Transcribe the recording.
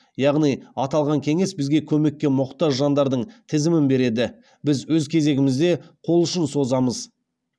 яғни аталған кеңес бізге көмекке мұқтаж жандардың тізімін береді біз өз кезегімізде қолұшын созамыз